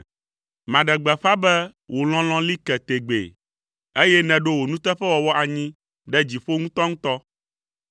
Maɖe gbeƒã be wò lɔlɔ̃ li ke tegbee, eye nèɖo wò nuteƒewɔwɔ anyi ɖe dziƒo ŋutɔŋutɔ.